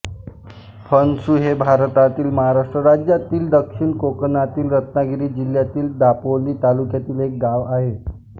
फणसु हे भारतातील महाराष्ट्र राज्यातील दक्षिण कोकणातील रत्नागिरी जिल्ह्यातील दापोली तालुक्यातील एक गाव आहे